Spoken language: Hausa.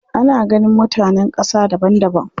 Ana ganin mutanen ƙasa daban daban.